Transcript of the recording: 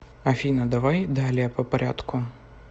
афина давай далее по порядку